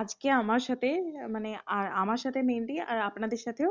আজকে আমার সাথে মানে আর আমার সাথে mainly আর আপনাদের সাথেও